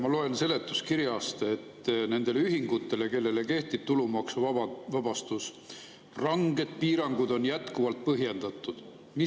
Ma loen seletuskirjast, et nende ühingute puhul, kellele kehtib tulumaksuvabastus, on jätkuvalt põhjendatud ranged piirangud.